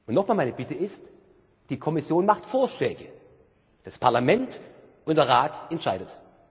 Noch einmal, meine Bitte ist Die Kommission macht Vorschläge, das Parlament und der Rat entscheiden.